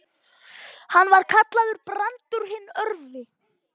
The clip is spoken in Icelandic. Hann var kallaður Brandur hinn örvi.